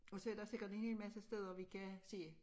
Og så der sikkert en hel masse steder vi kan se